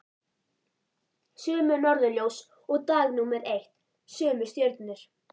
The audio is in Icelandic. Sömu norðurljós og dag númer eitt, sömu stjörnur.